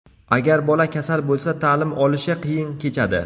Agar bola kasal bo‘lsa, ta’lim olishi qiyin kechadi.